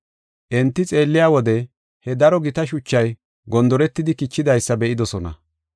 Enti xeelliya wode he daro gita shuchay gondoretidi kichidaysa be7idosona.